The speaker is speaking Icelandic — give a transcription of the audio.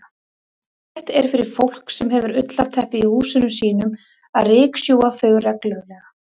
Ágætt er fyrir fólk sem hefur ullarteppi í húsum sínum að ryksjúga þau reglulega.